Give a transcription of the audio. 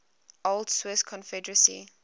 old swiss confederacy